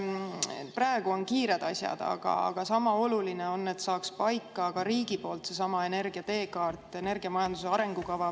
Praegu on kiired asjad, aga sama oluline on, et saaks paika ka riigi poolt seesama energia teekaart, energiamajanduse arengukava.